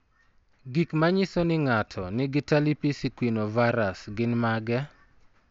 Gik manyiso ni ng'ato nigi Talipes equinovarus gin mage?